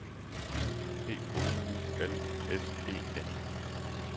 P O U L S E N